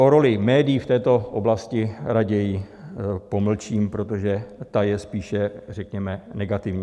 O roli médií v této oblasti raději pomlčím, protože ta je spíše, řekněme, negativní.